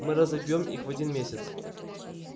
мы разобьём их в один месяц